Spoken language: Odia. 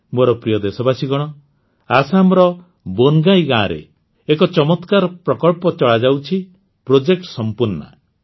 ମୋର ପ୍ରିୟ ଦେଶବାସୀଗଣ ଆସାମର ବୋନଗାଇ ଗାଁରେ ଏକ ଚମତ୍କାର ପ୍ରକଳ୍ପ ଚଳାଯାଉଛି ପ୍ରୋଜେକ୍ଟ ସମ୍ପୂର୍ଣ୍ଣା